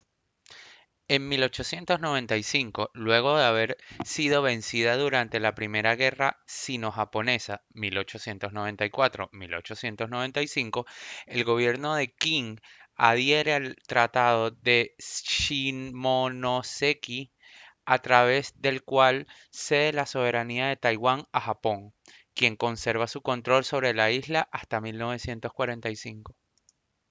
en 1895 luego de haber sido vencida durante la primera guerra sino-japonesa 1894-1895 el gobierno de qing adhiere al tratado de shimonoseki a través del cual cede la soberanía de taiwán a japón quien conserva su control sobre la isla hasta 1945